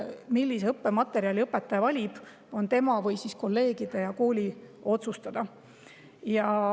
Millise õppematerjali õpetaja valib, on tema, kolleegide või kooli otsustada.